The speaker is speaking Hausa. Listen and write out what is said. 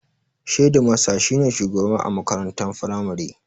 Shedimasta shi ne shugaba a makaranta firamare